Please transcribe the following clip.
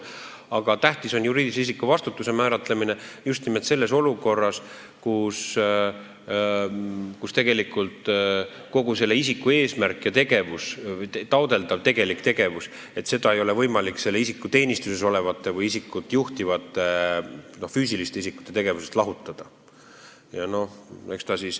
Aga tähtis on juriidilise isiku vastutuse määratlemine just nimelt olukorras, kus selle isiku eesmärki ja taotletavat tegelikku tegevust ei ole võimalik lahutada selle isiku teenistuses olevate või isikut juhtivate füüsiliste isikute tegevusest.